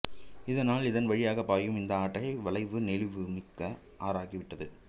இதனால் இதன்வழியாக பாயும் இந்த ஆற்றை வளைவு நெளிவு மிக்க ஆறாகிவிட்டது